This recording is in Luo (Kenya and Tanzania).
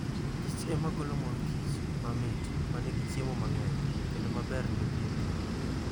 kich ema golo mor kich, mamit, ma nigi chiemo mang'eny, kendo maber ne pien del.